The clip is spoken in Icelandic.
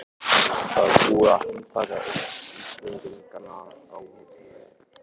Það var búið að handtaka einn Íslendinganna á hótelinu.